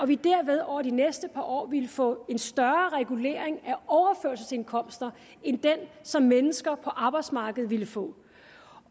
vi derved over de næste par år ville få en større regulering af overførselsindkomsterne end den som mennesker på arbejdsmarkedet ville få